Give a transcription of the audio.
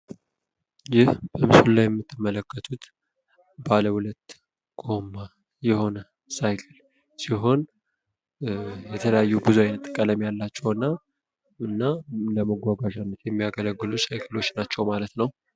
ይህ በምስሉ ላይ የምይትመለከቱት ባለ 2 ጎማ የሆነ ሳይክል ሲሆን፤ የተለያዩ ብዙ አይነት ቀለም ያላቸው እና ለመጓጓዣነት የማያገለግሉ ሳይክሎች ናቸው ማለት ነው።